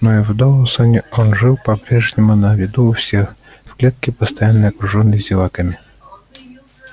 но и в доусоне он жил по прежнему на виду у всех в клетке постоянно окружённый зеваками